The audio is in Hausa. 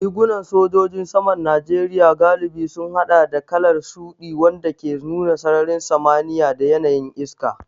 Rigunan sojojin saman Najeriya galibi sun haɗa da kalar shuɗi, wanda ke nuna sararin samaniya da yanayin iska.